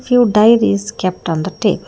few diaries kept on the table.